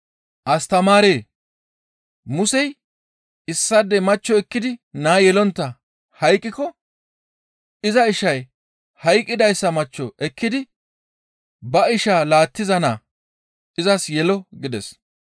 «Astamaaree! Musey, ‹Issaadey machcho ekkidi naa yelontta hayqqiko iza ishay hayqqidayssa machcho ekkidi ba ishaa laattiza naa izas yelo› gides.